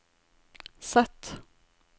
Z